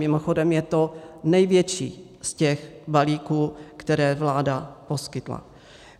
Mimochodem je to největší z těch balíků, které vláda poskytla.